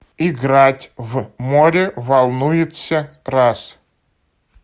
играть в море волнуется раз